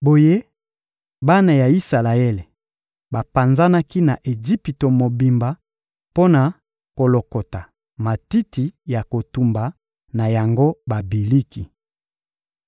Boye bana ya Isalaele bapanzanaki na Ejipito mobimba mpo na kolokota matiti ya kotumba na yango babiliki.